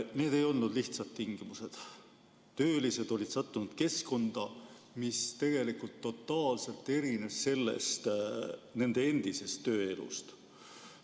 Need ei olnud lihtsad tingimused, töölised olid sattunud keskkonda, mis tegelikult totaalselt erinesid nende endisest tööelust.